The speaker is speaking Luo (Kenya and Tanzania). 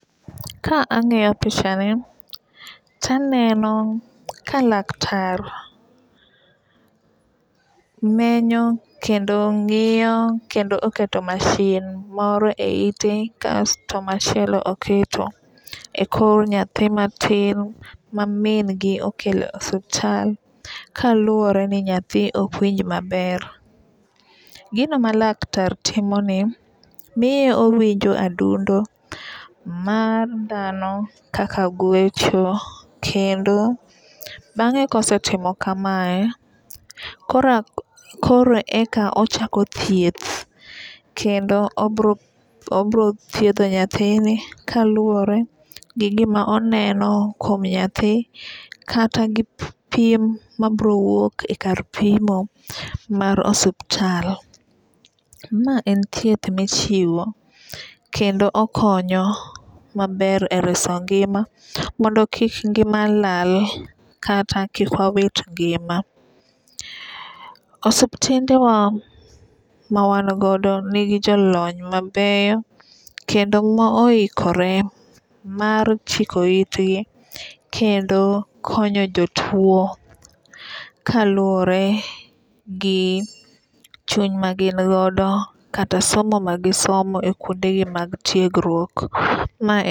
Ka ang'iyo picha ni taneno ka laktar menyo kendo ng'iyo kendo oketo masin moro e ite kasto machielo oketo e kor nyathi matin ma min gi okelo osuptal kaluwore ni nyathi ok winj maber. Gino ma laktar timo ni miye owinjo adundo mar dhano kaka gwecho kendo bang'e kosetimo kamae kore kore eka ochako thieth kendo obro obro thiedho nyathini kaluwore gi gima oneno kuom nyathi kata gi pim mabro wuok e kar pimo mar osiptal. Ma en thieth michiwo kendo okonyo maber ereso ngima mondo kik ngima lal kata kik wawit ngima .Osiptende wa ma wan godo nigi jolony mabeyo kendo ma oikore mar chiko itgi kendo konyo jotuo kaluwore gi chuny ma gin godo kata somo ma gisomo e kuonde gi mag tiegruok ma en